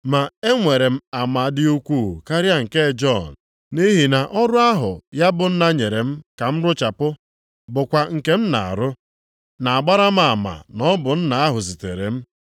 “Ma e nwere m ama dị ukwuu karịa nke Jọn, nʼihi na ọrụ ahụ ya bụ Nna nyere m ka m rụchapụ, bụkwa nke m na-arụ, na-agbara m ama na ọ bụ Nna ahụ zitere m.